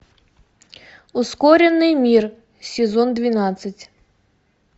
ускоренный мир сезон двенадцать